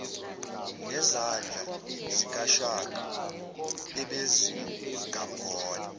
nezandla zikashaka ebezingamgona